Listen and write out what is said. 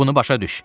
Bunu başa düş.